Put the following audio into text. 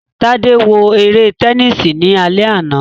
Tade wo ere tẹnisi ni alẹ ana